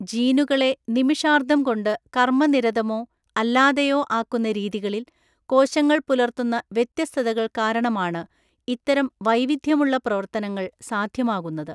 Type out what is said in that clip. ജീനുകളെ നിമിഷാർദ്ധം കൊണ്ട് കർമ്മനിരതമോ അല്ലാതെയോ ആക്കുന്ന രീതികളിൽ കോശങ്ങൾ പുലർത്തുന്ന വ്യത്യസ്തതകൾ കാരണമാണ് ഇത്തരം വൈവിധ്യമുള്ള പ്രവർത്തനങ്ങൾ സാധ്യമാകുന്നത്.